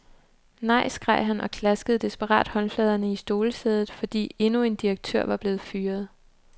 Nej, skreg han og klaskede desperat håndfladerne i stolesædet, fordi endnu en direktør var blevet fyret.